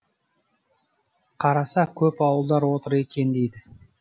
қараса көп ауылдар отыр екен дейді